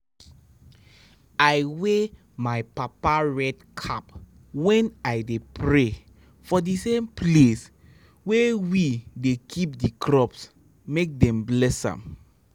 i wear my papa red cap when i dey pray for the same place wey we dey keep the crops make dem bless am.